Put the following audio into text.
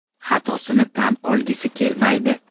Xatosini tan olgisi kelmaydi.